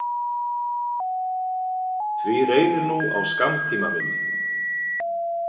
Því reynir nú á skammtímaminni.